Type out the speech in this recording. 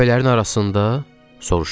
Təpələrin arasında, soruşdum.